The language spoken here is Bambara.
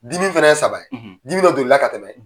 Dimi fana ye saba ye, dimi dɔ don n'i la ka tɛmɛ